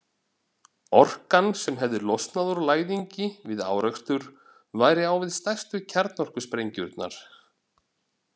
Orkan sem hefði losnað úr læðingi við árekstur væri á við stærstu kjarnorkusprengjurnar.